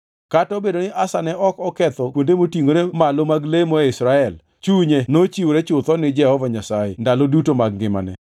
Kata obedo ni Asa ne ok oketho kuonde motingʼore malo mag lemo e Israel, chunye nochiwore chutho ni Jehova Nyasaye ndalo duto mag ngimane.